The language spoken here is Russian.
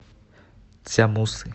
цзямусы